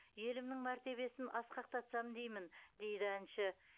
елімнің мәртебесін асқақтатсам деймін дейді әнші